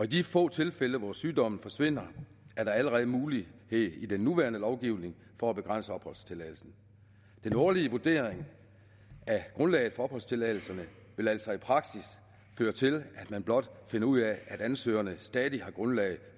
de få tilfælde hvor sygdommen forsvinder er der allerede mulighed i den nuværende lovgivning for at begrænse opholdstilladelsen den årlige vurdering af grundlaget for opholdstilladelserne vil altså i praksis føre til at man blot finder ud af at ansøgerne stadig har grundlag